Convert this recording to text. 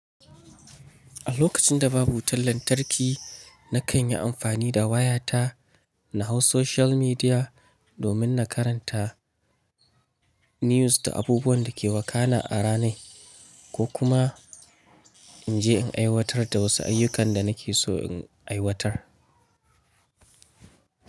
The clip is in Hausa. A lokacin da babu wutar lantarki na kan yi amfani da wayata na hau social media domin na karanta news da abubuwan da ke wakana a ranar ko kuma in je in aiwatar da wasu ayyukan da nake so in aiwatar.